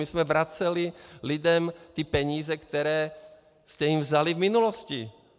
My jsme vraceli lidem ty peníze, které jste jim vzali v minulosti.